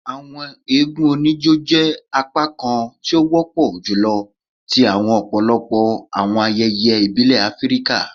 Awọn eégún onijó jẹ apakan ti o wọpọ julọ ti ọpọlọpọ awọn ayẹyẹ ibile Afirika.